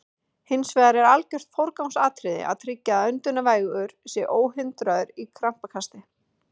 Hins vegar er algjört forgangsatriði að tryggja að öndunarvegur sé óhindraður í krampakasti.